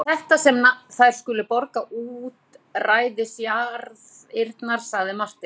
Svo það er þetta sem þær skulu borga útræðisjarðirnar, sagði Marteinn.